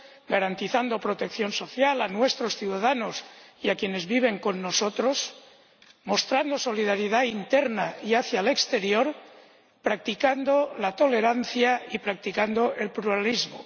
garantizando protección social a nuestros ciudadanos y a quienes viven con nosotros, mostrando solidaridad interna y hacia el exterior, practicando la tolerancia y practicando el pluralismo.